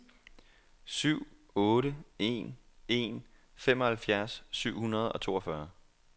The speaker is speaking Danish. syv otte en en femoghalvfjerds syv hundrede og toogfyrre